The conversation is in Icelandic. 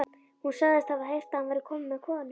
Hún sagðist hafa heyrt að hann væri kominn með konu.